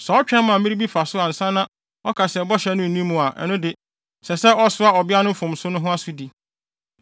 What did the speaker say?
Sɛ ɔtwɛn ma mmere bi fa so ansa na ɔka se bɔhyɛ no nni mu a, ɛno de, ɛsɛ sɛ ɔsoa ɔbea no mfomso no ho asodi.”